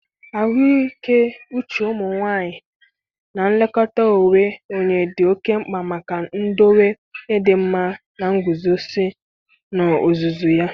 ahụike uche ụmụ nwanyị na nlekọta onwe onye dị oke mkpa maka idowe ịdịmma na nguzozi n'ozuzu ya.